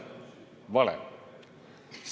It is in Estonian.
Vale!